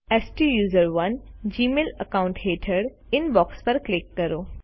હવે સ્ટુસરોને Gmail account હેઠળ ઇનબોક્ષ પર ક્લિક કરો